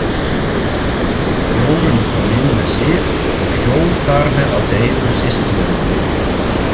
Jórunn kom inn með Sif og hjó þar með á deilur systkinanna.